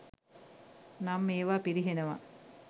නම් ඒවා පිරිහෙනවා.